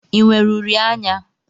I nwere uri anya?